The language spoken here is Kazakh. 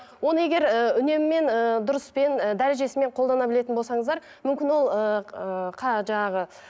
оны егер ы үнеммен ыыы дұрыспен ы дәрежесімен қолдана білетін болсаңыздар мүмкін ол ыыы жаңағы